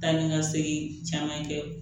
Taa ni ka segin caman kɛ